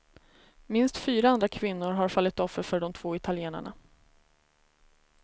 Minst fyra andra kvinnor har fallit offer för de två italienarna.